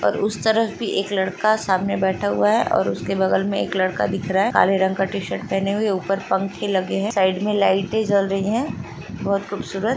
और उस तरफ भी एक लड़का सामने बैठा हुआ है और उसके बगल मे एक लड़का दिख रहा है काले रंग का टी-शर्ट पहने हुए ऊपर पंखे लगे हैं। साइड मे लाइटे जल रही हैं बहुत खूबसूरत।